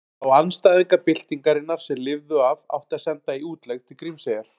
Þá andstæðinga byltingarinnar sem lifðu af átti að senda í útlegð til Grímseyjar.